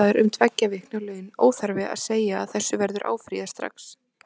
Sektaður um tveggja vikna laun, óþarfi að segja að þessu verður áfrýjað strax.